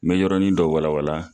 N mɛ yɔrɔnin dɔ wala wala